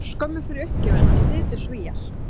Örskömmu fyrir uppgjöfina slitu Svíar